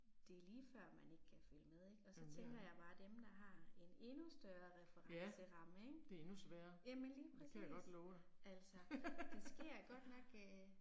Det er lige før man ikke kan følge med ik og så tænker jeg bare dem der har en endnu større referenceramme ik. Jamen lige præcis altså. Der sker godt nok øh